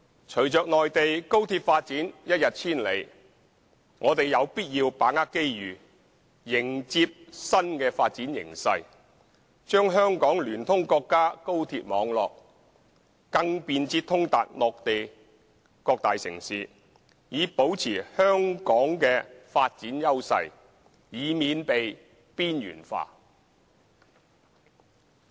隨着內地高鐵發展一日千里，我們有必要把握機遇，迎接新的發展形勢，將香港聯通國家高鐵網絡，更便捷通達內地各大城市，以保持香港的發展優勢，以免被邊緣化。